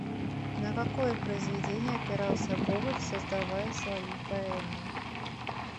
на какое произведение опирался гоголь создавая свою поэму